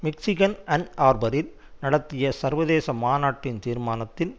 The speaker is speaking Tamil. மிச்சிகன் அன் ஆர்பரில் நடத்திய சர்வதேச மாநாட்டின் தீர்மானத்தில்